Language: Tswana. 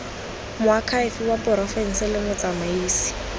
moakhaefe wa porofense le motsamaisi